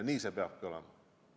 Ja nii see peabki olema.